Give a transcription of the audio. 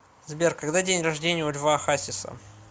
сбер когда день рождения у льва хасиса